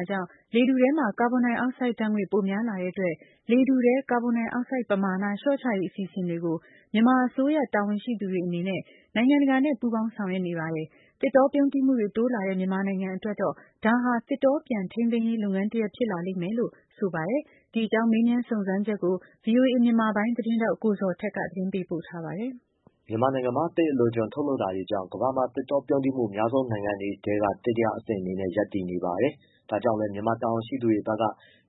ာကြောင့် လေထုထဲမှာကာဗွန်ဒိုင်အောက်ဆိုဒ်ဓါတ်ငွေ့ ပိုများပြားလာတဲ့အတွက်၊ လေထုထဲ ကာဗွန်ဒိုင်အောက်ဆိုဒ်ပမာဏ လျော့ချရေး အစီအစဉ်တွေကို မြန်မာအစိုးရတာဝန်ရှိသူတွေအနေနဲ့ နိုင်ငံတကာနဲ့ ပူးပေါင်းဆောင်ရွက်နေပါတယ်။ သစ်တောပြုန်းတီးမှုတွေ တိုးလာတဲ့ မြန်မာနိုင်ငံအတွက်တော့ ဒါဟာ သစ်တောပြန်ထိမ်းသိမ်းရေးလုပ်ငန်းတရပ်ဖြစ်လာမယ်လို့ ဆိုပါတယ်။ ဒီအကြောင်း မေးမြန်းစုံစမ်းချက်ကို ဗွီအိုအေ မြန်မာပိုင်းသတင်းထောက် ကိုဇော်ထက် သတင်းပေးပို့ထားပါတယ်။ မြန်မာနိုင်ငံမှာ သစ်အလွန်အကျွံထုတ်လုပ်တာတွေကြောင့် ကမ္ဘာမှာသစ်တောပြုန်းတီးမှု အများဆုံးနိုင်ငံတွေထဲက တတိယအဆင့်နေနဲ့ ရပ်တည်နေပါတယ်။ ဒါကြောင့်လည်း မြန်မာတာဝန်ရှိသူတွေဖက်က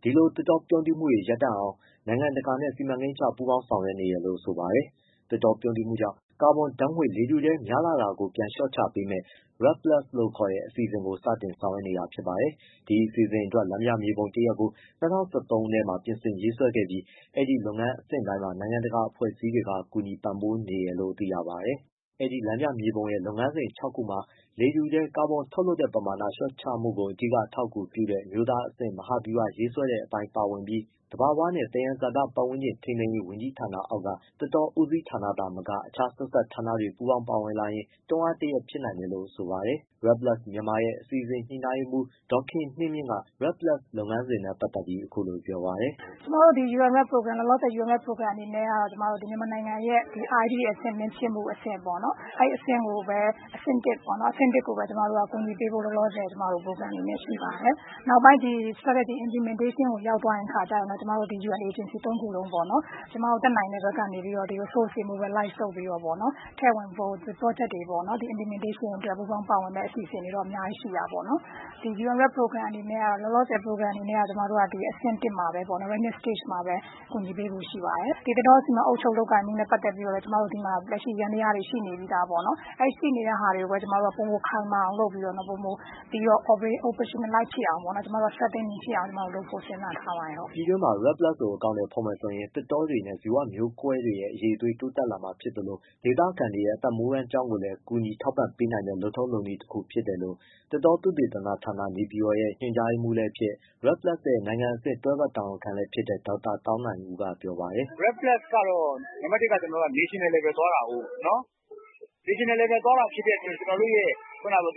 ဒီလို သစ်တောပြုန်းတီးမှုတွေ ရပ်တန့်အောင် နိုင်ငံတကာနဲ့ စီမံကိန်းချ ပူးပေါင်းဆောင်ရွက်နေတယ်လို့ဆိုပါတယ်။ သစ်တောပြုန်းတီးမှုကြောင့် ကာဗွန်ဓါတ်ငွေ့လေထုထဲများလာတာကို ပြန်လျှေ့ာ့ချပေမယ့် REDD+ လို့ ခေါ်တဲ့ အစီအစဉ်ကို စတင်ဆောင်ရွက်နေတာဖြစ်ပါတယ်။ ဒီအစီအစဉ်အတွက် လမ်းပြမြေပုံတရပ်ကို ၂၀၁၃ ခုနှစ်မှာ ပြင်ဆင်ရေးဆွဲခဲ့ပြီး၊ ဒီလုပ်ငန်းအဆင့်တိုင်းမှာ နိုင်ငံတကာအဖွဲ့အစည်းတွေက ကူညီပံ့ပိုးပေးနေတယ်လို့သိရပါတယ်။ အဲဒီလမ်းပြမြေပုံရဲ့ လုပ်ငန်းစဉ် ၆ခုမှာ လေထုထဲ ကာဗွန်ထုတ်လွှတ်တဲ့ပမာဏ လျော့ချမှုကို အဓိကအထောက်အကူပြုနိုင်တဲ့ အမျိုးသားအဆင့်မဟာဗျူဟာရေးဆွဲတဲ့အပိုင်း ပါဝင်ပြီး သဘာဝသယံဇာတနှင့် ပတ်ဝန်းကျင်ထိန်းသိမ်းရေး ဝန်ကြီးဌာနအောက်က သစ်တောဦးစီးဌာနသာမက အခြားဆက်စပ် ဌာနတွေက ပူးပေါင်းပါဝင်လာရင် တွန်းအားတစ်ရပ်ဖြစ်နိုင်တယ်လို့ဆိုပါတယ်။ REDD+ Myanmar ရဲ့ အစီအစဉ် ညှိနှိုင်းရေးမှုး ဒေါ်ခင်နှင်းမြင့်က REDD+ လုပ်ငန်းစဉ်နဲ့ပတ်သတ်ပြီးအခုလိုပြောပါတယ်။ “ကျွန်မတို့လောလောဆယ် UN-REDD program အနေနဲ့က ဒီမြန်မာနိုင်ငံရဲ့ REDDအဆင်သင့်ဖြစ်မှုပေါ့နော် အဲဒီအဆင့်ကိုပဲ အဆင့်တစ်ပေါ့နော်၊ အဲဒီအဆင့်ကိုပဲ အကူအညီပေးဖို့ ပရိုဂရမ်အနေနဲ့ရှိပါတယ်။ နောက်ပိုင်း Strategy Implementationကို ရောက်သွားတဲ့အခါကျရင်တော့ ကျွန်မတို့ဒီ ယူအန် အေဂျင်စီသုံးခုလုံးပေါ့နော် ကျွန်မတို့တတ်နိုင်တဲ့ဘက်ကနေ Resource တွေ mobilize လုပ်ပြီးတော့ ထည့်ဝင်ဖို့ ဒီပရော့ဂျက်တွေ implementation အတွက်ပူးပေါင်းပါဝင်မယ့်အစီအစဉ်တွေတော့ အများကြီးရှိတာပေါ့နော်။ ဒီ UN-REDD Program အနေနဲ့က လောလောဆယ်အဆင့်တစ်မှာပဲ awareness stage မှာပဲကူညီပေးဖို့ရှိပါတယ်။ ဒီသစ်တော စီမံအုပ်ချုပ်လုပ်ကိုင်မှုနဲ့ပတ်သတ်ပြီးတော့ လက်ရှိဒီမှာ ယန္တယားတွေ ရှိနေပြီးသားပေါ့ နော်၊အဲဒီရှိနေတဲ့ဟာတွေကိုပဲ ကျွန်မတို့က ပိုမိုခိုင်မာအောင် strengthening ဖြစ်အောင်လုပ်ဖို့ ကျွန်မတို့စဉ်းစားထားပါတယ်။” ပြည်တွင်းမှာ REDD+ ကိုအကောင်အထည်ဖော်မယ်ဆိုရင် သစ်တောတွေနဲ့ ဇီဝမျိုးကွဲတွေရဲ့ အရည်အသွေး တိုးတက်လာမှာ ဖြစ်သလို ဒေသခံတွေရဲ့ အသက်မွေးဝမ်းကျောင်းကိုလည်းကူညီပံ့ပိုးပေးနိုင်တဲ့ လုပ်ထုံးလုပ်နည်းတစ်ခုဖြစ်တယ်လို့ သစ်တောသုတေသနဌာန ရဲ့ ညွှန်ကြားရေးမှုးလည်းဖြစ် REDD+ရဲ့နိုင်ငံအဆင့် တွဲဖက်တာဝန်ခံလည်းဖြစ်တဲ့ ဒေါက်တာ သောင်းနိုင်ဦးက ပြောပါတယ်။ “REDD+ တော့ National Level သွားတာကိုး National Level သွားတာဖြစ်တဲ့အတွက် ကျွန်တော်တို့ရဲ့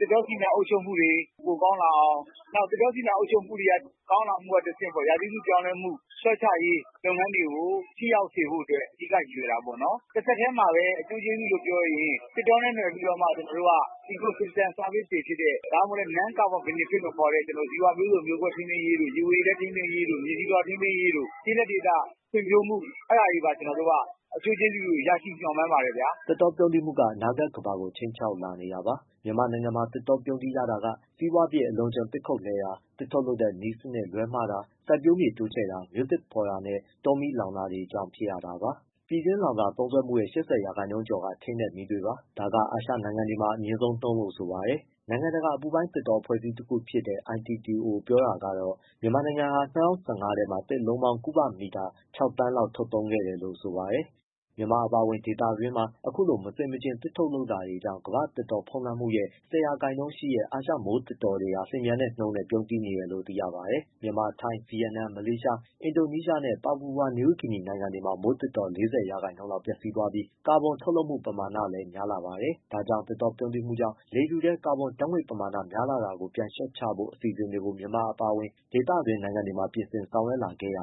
သစ်တောစီမံ အုပ်ချုပ်မှုစနစ်တွေ ပိုကောင်းလာအောင် နောက် သစ်တောစီမံအုပ်ချုပ်မှု ပိုကောင်းလာတာကနေ တစ်ဆင့် ရာသီဥတု ပြောင်းလဲမှုလျှော့ချရေး လုပ်ငန်းတွေကို ထိရောက်စေဖို့အတွက် အဓိကရည်ရွယ်တာပေါ့။ တစ်ဆက်တည်းမှာပဲ အကျိုးကျေးဇူလို့ပြောရင် သစ်တောနဲ့နွယ်ပြီးတော့မှ ကျွန်တော်တို့က Ecosystem Services တွေဖြစ်တဲ့ ဒါမှမဟုတ် non-carbon benefit လို့ခေါ်တဲ့ ဇီဝမျိုးစုံမျိုးကွဲထိန်းသိမ်းရေးတို့ ရေဝေရေလဲထိန်းသိမ်းရေးတို့ မြေဆီလွှာထိန်းသိမ်းရေးတို့ ကျေးလက်ဒေသဖွံ့ဖြိုးမှု အထောက်အကူပြုမှု အဲဒါတွေပါ ကျွန်တော်တို့က အကျိုးကျေးဇူးရဖို့ မျှော်မှန်းပါတယ် ဗျာ။” သစ်တောပြုန်းတီးမှုတွေက အနာဂတ်ကမ္ဘာကို ခြိမ်းခြောက်လာနေတာပါ။ မြန်မာနိုင်ငံမှာ သစ်တောပြုန်းတီးရတာက စီးပွားဖြစ် အလွန်အကျွံသစ်ခုတ်လှဲတာ၊ သစ်ထုတ်လုပ်တဲ့နည်းစနစ် လွဲမှားတာ၊ စိုက်ပျိုးမြေတိုးချဲ့တာ၊ မြို့သစ်ဖော်တာနဲ့ တောမီးလောင်တာ တွေကြောင့်ဖြစ်ရတာပါ။ ပြည်တွင်းလောင်စာသုံးစွဲမှုရဲ့ ၈၀ ရာခိုင်နှုန်းကျော်က ထင်းနဲ့ မီးသွေးပါ။ ဒါကအာရှနိုင်ငံတွေမှာ အမြင့်ဆုံးနှုန်းလို့ ဆိုပါတယ်။ နိုင်ငံတကာအ ပူပိုင်းသစ်တော အဖွဲ့အစည်းတစ်ခုဖြစ်တဲ့ ITTO ပြောတာကတော့ မြန်မာနိုင်ငံဟာ ၂၀၁၅ ထဲမှာ သစ်လုံးပေါင်း ကုဗမီတာ ၆သန်းလောက် ထုတ်သုံးခဲ့တယ်လို့ ဆိုပါတယ်။ မြန်မာအပါအဝင် ဒေသတွင်းမှာ အခုလို မဆင်မချင်သစ်ထုတ်လုပ်မှုတွေကြောင့် တစ်ကမ္ဘာလုံးသစ်တောလွှမ်းမိုးမှုရဲ့ ၁၀ရာခိုင်နှုန်းရှိတဲ့ အာရှမိုးသစ်တောတွေဟာ လျင်မြန်တဲ့နှုန်းနဲ့ ပြုန်းတီးနေတယ်လို့ သိရပါတယ်။ မြန်မာ၊ ထိုင်း၊ ဗီယက်နမ်၊ မလေးရှား၊ အင်ဒိုနီးရှားနဲ့ ပါပူဝါ နယူးဂီနီနိုင်ငံတွေမှာ မိုးသစ်တော ၄၀ရာခိုင်နှုန်းလောက် ပျက်စီးသွားပြီး ကာဗွန်ထုတ်လွှတ်မှု ပမာဏလည်းများလာပါတယ်။ ဒါကြောင့် သစ်တောပြုန်းတီးမှုကြောင့် လေထုထဲ ကာဗွန်ဓါတ်ငွေ့ပမာဏ များလာတာကို ပြန်လျှော့ချဖို့ အစီအစဉ်တွေကို မြန်မာနိုင်ငံအပါအဝင် ဒေသတွင်း နိုင်ငံတွေမှာ ပြင်ဆင်ဆောင်ရွက်လာခဲ့ရ